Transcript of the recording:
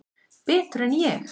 Betur en ég?